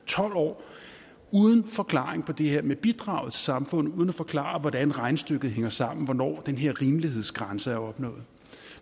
tolv år uden forklaring på det her med bidraget til samfundet uden at forklare hvordan regnestykket hænger sammen hvornår den her rimelighedsgrænse er opnået